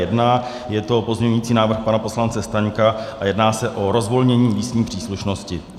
Je to pozměňující návrh pana poslance Staňka a jedná se o rozvolnění místní příslušnosti.